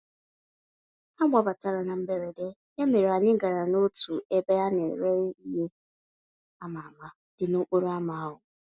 Ha gbabatara na mberede, ya mere anyị gara n'otu ebe a nere ìhè ama-ama, dị n'okporo ámá ahụ.